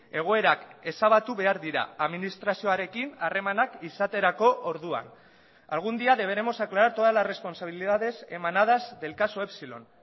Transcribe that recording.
egoerak ezabatu behar dira administrazioarekin harremanak izaterako orduan algún día deberemos aclarar todas las responsabilidades emanadas del caso epsilon